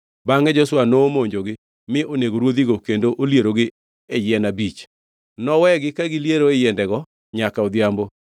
Bangʼe Joshua nomonjogi mi onego ruodhigo kendo olierogi e yien abich. Nowegi ka giliero e yiendego nyaka odhiambo.